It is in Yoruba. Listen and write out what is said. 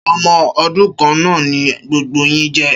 Ṣé ọmọ odún kan naa ni gbogbo yín je